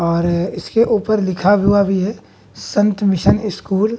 और इसके ऊपर लिखा हुआ भी है संत मिशन स्कूल ।